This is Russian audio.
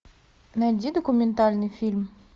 найди документальный фильм